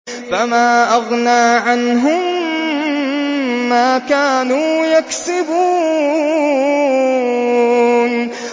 فَمَا أَغْنَىٰ عَنْهُم مَّا كَانُوا يَكْسِبُونَ